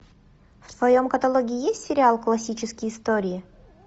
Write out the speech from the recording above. в твоем каталоге есть сериал классические истории